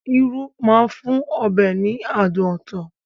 Irú máa ń fún ọbẹ̀ ní adùn ọtọ̀